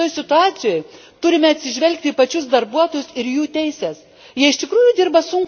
Ir galiausiai visoje šitoje situacijoje turime atsižvelgti į pačius darbuotojus ir jų teises.